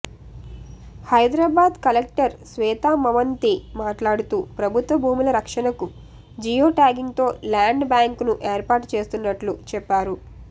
Hyderabad collector Shweta Mohanty మాట్లాడుతూ ప్రభుత్వ భూముల రక్షణకు జియోట్యాగింగ్తో ల్యాండ్ బ్యాంక్ను ఏర్పాటు చేస్తున్నట్లు చెప్పారు